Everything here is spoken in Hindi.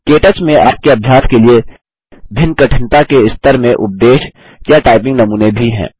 के टच में आपके अभ्यास के लिए भिन्न कठिनता के स्तर में उपदेश या टाइपिंग नमूने भी हैं